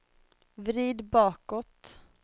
vrid bakåt